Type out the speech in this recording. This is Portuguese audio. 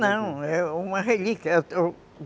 Não, é uma relíquia.